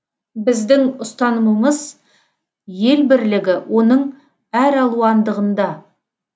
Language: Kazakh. біздің ұстанымымыз ел бірлігі оның әралуандығында